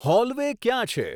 hallway ક્યાં છે